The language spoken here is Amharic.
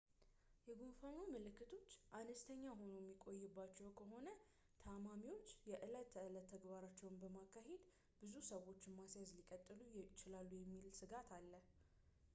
የጉንፋኑ ምልክቶች አነስተኛ ሆኖ የሚቆይባቸው ከሆነ ታማሚዎች የዕለት ተዕለት ተግባራቸውን በማካሄድ ብዙ ሰዎችን ማስያዝ ሊቀጥሉ ይችላሉ የሚል ሥጋት አለ